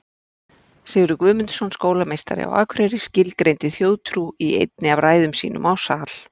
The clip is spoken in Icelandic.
Sigurður Guðmundsson skólameistari á Akureyri skilgreindi þjóðtrú í einni af ræðum sínum á sal.